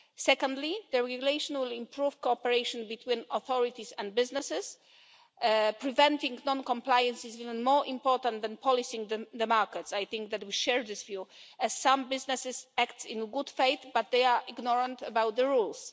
Secondly, the regulation will improve cooperation between authorities and businesses. Preventing non compliance is even more important than policing the market I think that we share this view as some businesses act in good faith but they are ignorant about the rules.